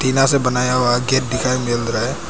टिनां से बनाया हुआ गेट दिखाई मिल रहा है।